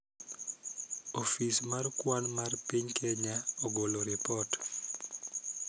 Ofis mar kwan mar piny Kenya ogolo ripot